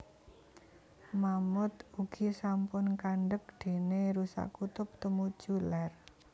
Mammaouth ugi sampun kandeg déné rusa kutub tumuju lèr